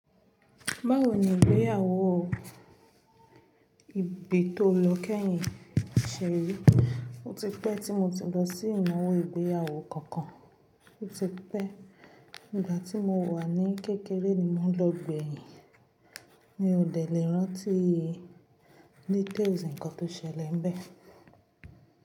Báwo ni ìgbéyàwó òò? Ìbí tó lọ kẹ́yìn ṣè rí. Ó ti pẹ́ tí mo ti lọ sí ìnáwó ìgbéyàwó kankan. Ó ti pẹ́. Ìgbà tí mo wà ní kékeré ni mo lọ gbẹ̀yìn. Mi ò dẹ̀ lẹ̀ rántí details nnkan tó ṣẹlẹ̀ bẹ́ẹ̀.